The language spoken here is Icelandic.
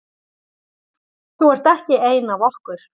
Þú ert ekki ein af okkur.